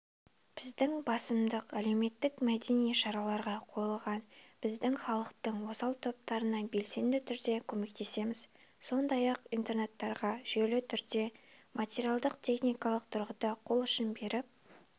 біздің басымдық әлеуметтік-мәдени шараларға қойылған біз халықтың осал топтарына белсенді түрде көмектесеміз сондай-ақ интернаттарға жүйелі түрде материалдық-техникалық тұрғыда қол ұшын беріп